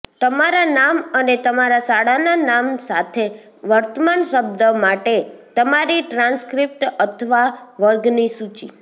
તમારા નામ અને તમારા શાળાના નામ સાથે વર્તમાન શબ્દ માટે તમારી ટ્રાન્સક્રિપ્ટ અથવા વર્ગની સૂચિ